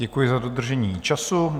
Děkuji za dodržení času.